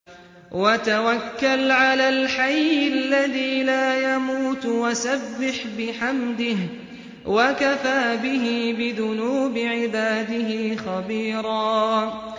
وَتَوَكَّلْ عَلَى الْحَيِّ الَّذِي لَا يَمُوتُ وَسَبِّحْ بِحَمْدِهِ ۚ وَكَفَىٰ بِهِ بِذُنُوبِ عِبَادِهِ خَبِيرًا